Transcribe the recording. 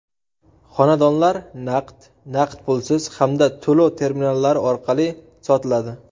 Xonadonlar naqd, naqd pulsiz hamda to‘lov terminallari orqali sotiladi.